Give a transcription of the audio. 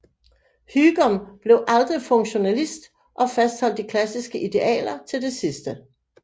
Hygom blev aldrig funktionalist og fastholdt de klassiske idealer til det sidste